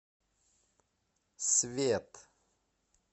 свет